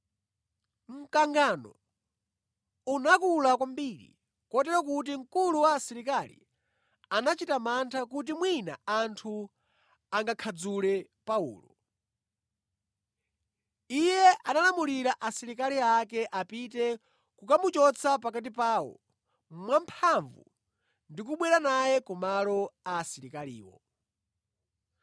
Mkangano unakula kwambiri kotero kuti mkulu wa asilikali anachita mantha kuti mwina anthu angakhadzule Paulo. Iye analamulira asilikali ake apite kukamuchotsa pakati pawo mwamphamvu ndi kubwera naye ku malo a asilikaliwo.